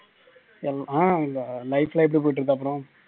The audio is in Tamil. ஹம் life லாம் எப்படி போயிட்டு இருக்கு அப்பறம்